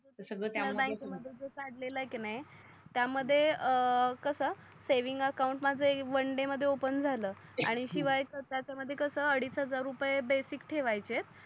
तर सगड त्या मध्ये नॅशनल बँक मध्ये कडलेल आहे की नाही त्या मध्ये कस सेव्हिंग अकाऊंटमाझ वन डे मध्ये ओपेन झाल आणि शिव्या तर त्या मध्ये कस अडीच हजार रूपेय बेसिक ठेवायचे